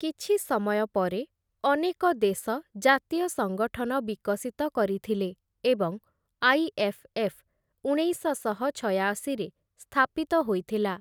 କିଛି ସମୟ ପରେ, ଅନେକ ଦେଶ ଜାତୀୟ ସଙ୍ଗଠନ ବିକଶିତ କରିଥିଲେ ଏବଂ ଆଇ.ଏଫ୍‌.ଏଫ୍‌. ଉଣେଇଶଶହ ଛୟାଅଶୀରେ ସ୍ଥାପିତ ହୋଇଥିଲା ।